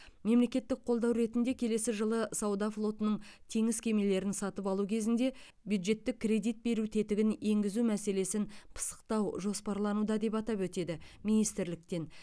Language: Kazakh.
мемлекеттік қолдау ретінде келесі жылы сауда флотының теңіз кемелерін сатып алу кезінде бюджеттік кредит беру тетігін енгізу мәселесін пысықтау жоспарлануда деп атап өтеді министрліктен